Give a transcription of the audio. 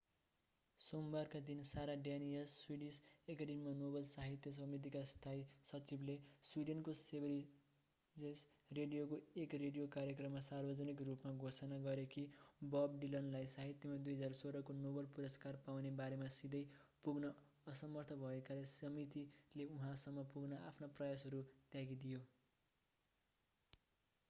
सोमबारका दिन Sara Danius Swedish एकेडेमीमा Nobel साहित्य समितिका स्थायी सचिवले स्विडेनको सेभेरिजेस रेडियोको एक रेडियो कार्यक्रममा सार्वजनिक रूपमा घोषणा गरे कि बब डिलनलाई साहित्यमा 2016 को नोबेल पुरस्कार पाउने बारेमा सिधै पुग्न असमर्थ भएकाले समितिले उहाँसम्म पुग्न आफ्ना प्रयासहरू त्यागिदियो